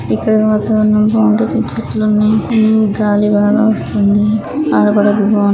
ఇక్కడ వాతావరణం బాగుంది. చెట్లున్నాయి గాలి బాగా వస్తుంది. ఆడుకోడానికి బాగుంది.